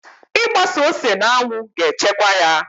Ị gbasa ose n'anwụ ga-echekwaa ya